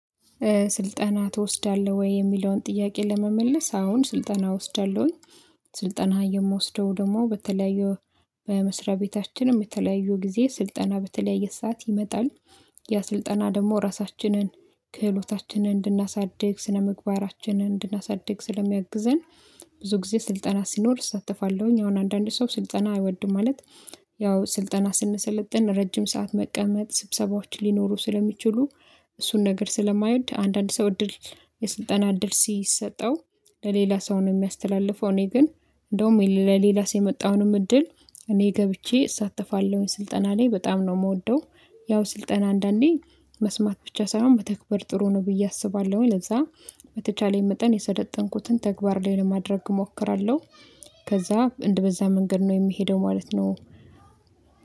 ስልጠና ትወስዳለህ ወይ? የሚለውን ጥያቄ ለመመለስ አዎን ስልጠና ወስዳለሁኝ። ስልጠና የምወስደው ደግሞ በተለያዩ በመስሪያ ቤታችንም የተለያዩ ጊዜ ስልጠና በተለያየ ሰዓት ይመጣል። ያ ስልጠና ደግሞ ራሳችንን ክህሎታችንን እንድናሳድግ ስነምግባራችንን እንድናሳድግ ስለሚያግዘን ብዙ ጊዜ ስልጠና ሲኖር እሳተፋለሁኝ። አሁን አንዳንድ ሰው ስልጠና አይወድም ማለት። ያው ስልጠና ስንሰለጥን ረጅም ሰዓት መቀመጥ ስብሰባዎች ሊኖሩ ስለሚችሉ እሱን ነገር ስለማይወድ አንዳንድ ሰው እድል የስልጠና እድል ሲሰጠው ለሌላ ሰው ነው። የሚያስተላልፈው እኔ ግን እንደውም ለሌላ ሰው የመጣውንም እድል እኔ ገብቼ እሳተፋለሁኝ ስልጠና ላይ በጣም ነው የምወደው። ያው ስልጠና አንዳንዴ መስማት ብቻ ሳይሆን መተግበር ጥሩ ነው ብዬ አስባለሁኝ። ለዛ በተቻለኝ መጠን የሰለጠንኩትን ተግባር ላይ ለማድረግ እሞክራለሁ። ከዛ እንደበዛ መንገድ ነው የምሄደው ማለት ነው።